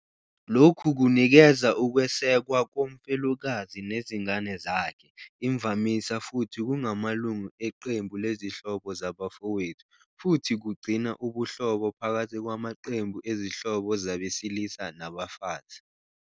Lokhu kunikeza ukwesekwa komfelokazi nezingane zakhe, imvamisa futhi kungamalungu eqembu lezihlobo zabafowethu, futhi kugcina ubuhlobo phakathi kwamaqembu ezihlobo zabesilisa nabafazi.